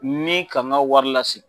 Ni ka n ka wari lasegin